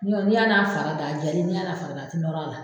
n'i y'a n'a fara da , a jalen , n'i y'a n'a farada a tɛ nɔrɔ a la.